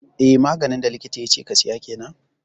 Eh maganin da likita yace ka siya kenan